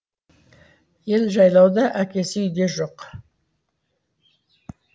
ел жайлауда әкесі үйде жоқ